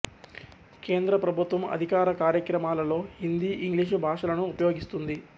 కేంద్ర ప్రభుత్వం అధికార కార్యక్రమాలలో హిందీ ఇంగ్లీషు భాషలను ఉపయోగిస్తుంది